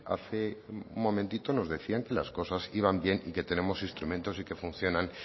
hace un momentito nos decían que las cosas iban bien y que tenemos instrumentos y que funcionan